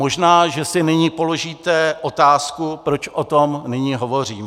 Možná že si nyní položíte otázku, proč o tom nyní hovořím.